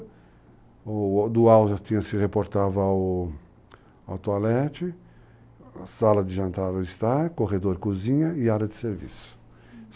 Do alto já se reportava ao toalete, sala de jantar ao estar, corredor cozinha e área de serviço. Uh...